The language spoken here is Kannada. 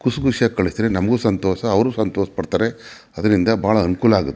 ಖುಷಿ ಖುಷಿಯಾಗಿ ಕಳಿಸಿದರೆ ನಮ್ಗೆ ಸಂತೋಷ ಅವರು ಸಂತೋಷ ಪಡುತ್ತಾರೆ ಅದ್ರಿಂದ ಬಹಳ ಅನುಕೂಲ ಆಗು --